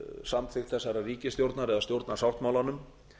samþykkt þessarar ríkisstjórnar eða stjórnarsáttmálanum